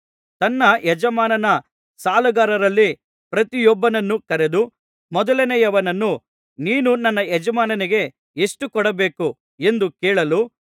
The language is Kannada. ತನ್ನ ಯಜಮಾನನ ಸಾಲಗಾರರಲ್ಲಿ ಪ್ರತಿಯೊಬ್ಬನನ್ನೂ ಕರೆದು ಮೊದಲನೆಯವನನ್ನು ನೀನು ನನ್ನ ಯಜಮಾನನಿಗೆ ಎಷ್ಟು ಕೊಡಬೇಕು ಎಂದು ಕೇಳಲು